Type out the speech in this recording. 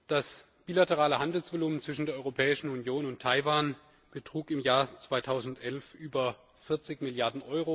Das bilaterale Handelsvolumen zwischen der Europäischen Union und Taiwan betrug im Jahr 2011 über 40 Mrd.